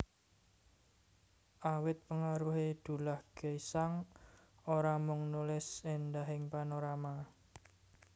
Awit pengaruhé Dullah Gesang ora mung nulis éndahing panorama